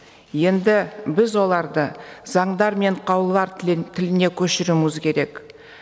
енді біз оларды заңдар мен қаулылар тіліне көшіруіміз керек